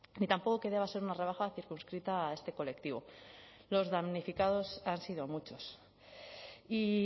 ni tampoco que deba ser una rebaja circunscrita a este colectivo los damnificados han sido muchos y